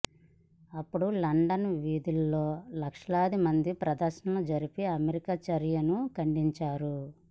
అప్పుడు లండన్ వీధుల్లో లక్షలాదిమంది ప్రదర్శనలు జరిపి అమెరికా చర్యను ఖండించారు